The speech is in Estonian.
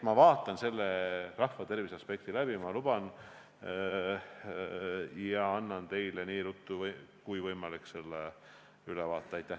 Ma vaatan selle rahvatervise aspekti üle, ma luban, ja annan teile võimalikult ruttu ülevaate.